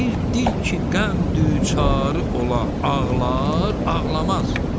Bir dil ki, qəm duçarı ola, ağlar, ağlamaz?